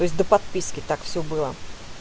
то есть до подписки так всё было